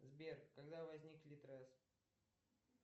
сбер когда возник литрес